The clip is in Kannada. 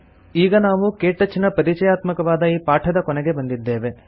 ಈಗ ನಾವು ಕೆಟಚ್ ನ ಪರಿಚಯಾತ್ಮಕವಾದ ಈ ಪಾಠದ ಕೊನೆಗೆ ಬಂದಿದ್ದೇವೆ